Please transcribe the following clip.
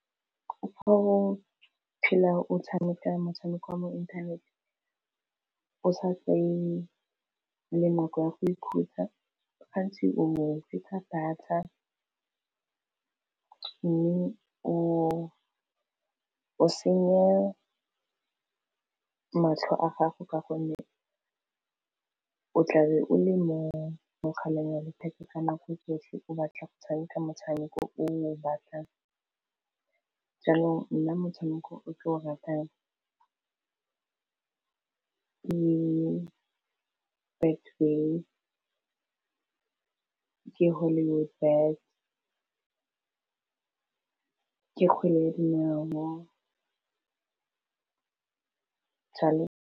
Goo phela o tshameka motshameko wa mo inthaneteng o sa fe le nako ya go ikhutsa gantsi o fetsa data mme o senye matlho a gago ka gonne o tlabe o le mogaleng wa letheka ka nako tsotlhe, o batla go tshameka motshameko o o batlang jaanong nna motshameko o ke o ratang ke Betway, ke hollywood bets, ke kgwele ya dinao .